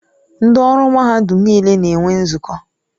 Ndị ọrụ mahadum niile na-enwe nzukọ.